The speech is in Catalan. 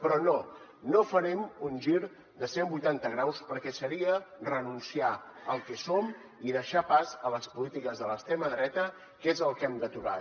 però no no farem un gir de cent vuitanta graus perquè seria renunciar al que som i deixar pas a les polítiques de l’extrema dreta que és el que hem d’aturar